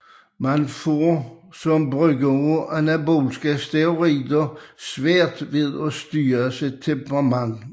Man får som bruger af anabole steroider svært ved at styre sit temperament